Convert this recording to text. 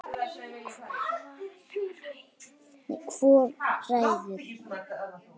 Hvor ræður?